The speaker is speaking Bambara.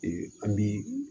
an bi